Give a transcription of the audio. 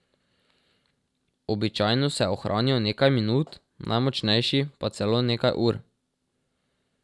Običajno se ohranijo nekaj minut, najmočnejši pa celo nekaj ur.